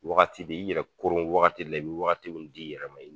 Wagati b'i i b'i yɛrɛ koron, wagati dɔ la, i be wagati di i yɛrɛ ma.